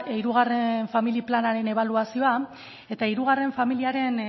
hirugarren familia planaren ebaluazioa eta hirugarren familia planaren